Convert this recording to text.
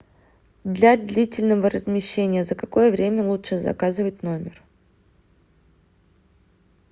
для длительного размещения за какое время лучше заказывать номер